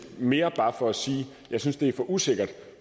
mere bare for at sige at jeg synes det er for usikkert